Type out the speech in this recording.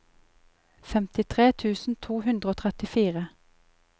femtitre tusen to hundre og trettifire